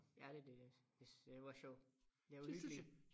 Ja det det øh det det har været sjovt det har været hyggeligt